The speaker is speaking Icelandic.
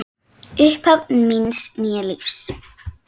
Upphaf míns nýja lífs.